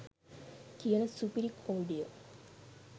කියන සුපිරි කොමඩිය.